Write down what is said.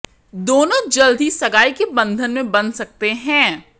दोनों जल्द ही सगाई के बंधन में बंध सकते हैं